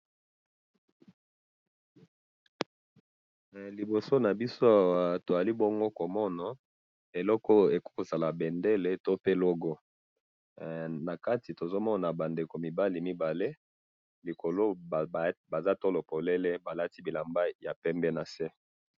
he liboso nabiso oy eloko ekoki kozala bendele to pe logo nakati tozali komona ba ndeko mibali mibale likolo baza tolo pepele balati bilamba ya pembe nase